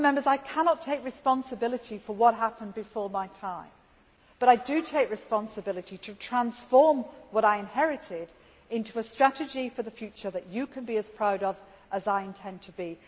I cannot take responsibility for what happened before my time, but I do take responsibility for transforming what I inherited into a strategy for the future that you can be as proud of, as I intend to be.